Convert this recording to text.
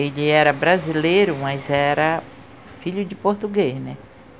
Ele era brasileiro, mas era filho de português, né?